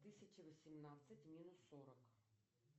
тысяча восемнадцать минус сорок